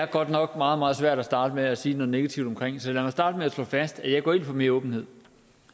godt nok meget meget svært at starte med at sige noget negativt så lad mig starte med at slå fast at jeg går ind for mere åbenhed